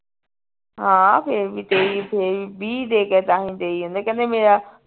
ਹਾਂ ਫੇਰ ਵੀ ਤੇਈ ਫੇਰ ਵੀ ਵੀਹ ਦੇ ਕੇ ਕਹਿੰਦੇ ਮੇਰਾ